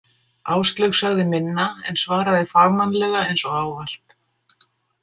Áslaug sagði minna, en svaraði fagmannlega eins og ávallt.